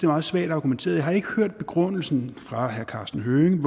meget svagt argumenteret har ikke hørt begrundelsen fra herre karsten hønge